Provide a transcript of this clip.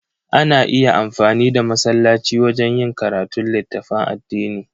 Ana iya amfani da masallaci wajen yin karatun littafan addini.